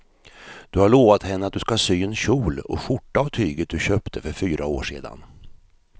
Du har lovat henne att du ska sy en kjol och skjorta av tyget du köpte för fyra år sedan.